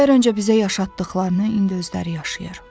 İllər öncə bizə yaşatdıqlarını indi özləri yaşayır.